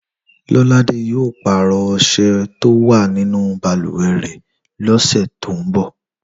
Lọ́ládé yóò pàrọ̀ ọṣẹ tó wà nínú balùwẹ̀ rẹ̀ lọ́sẹ̀ tó ń bọ̀